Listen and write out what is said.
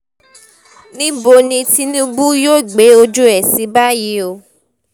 níbo ni tinubu yóò gbé ojú ẹ̀ sí báyìí o